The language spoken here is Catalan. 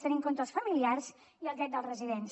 tenir en compte els familiars i el dret dels residents